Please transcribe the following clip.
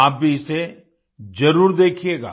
आप भी इसे जरूर देखिएगा